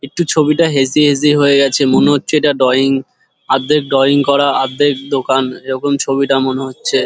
একটু ছবিটা hazy hazy হয়ে গেছে মনে হচ্ছে ইটা ড্রয়িং আর্ধেক ড্রয়িং করা আর্ধেক দোকান এরকম ছবিটা মনে হচ্ছে ।